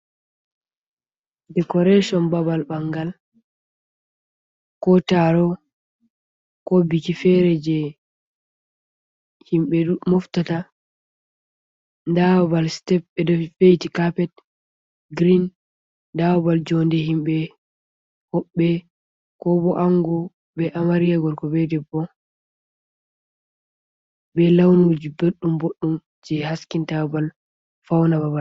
Decoration babal bangal ko taro ko biki fere je himbe moftata, da balbal step bedo veiti carpet green da babal jonde himbe hobbe ko bo’ango be amarya gorko be debbo kovd bo be launuji boddum boddum je haskin ta babal fauna babal.